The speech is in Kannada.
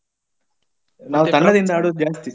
ನಾವು ತಂಡದಿಂದ ಆಡೋದು ಜಾಸ್ತಿ.